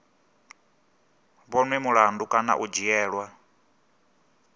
vhonwe mulandu kana u dzhielwa